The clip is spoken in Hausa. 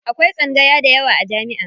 Akwai tsangaya dayawa a jami'a.